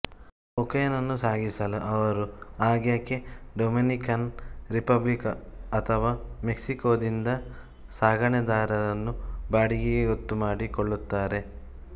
ಕೊಕೇನನ್ನು ಸಾಗಿಸಲು ಆವರು ಆಗಾಗ್ಗೆ ಡೊಮಿನಿಕನ್ ರಿಪಬ್ಲಿಕ್ ಅಥವಾ ಮೆಕ್ಸಿಕೋದಿಂದ ಸಾಗಣೆದಾರರನ್ನು ಬಾಡಿಗೆಗೆ ಗೊತ್ತುಮಾಡಿಕೊಳ್ಳುತ್ತಾರೆ